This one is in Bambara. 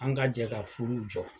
An ga jɛ ka furu jɔ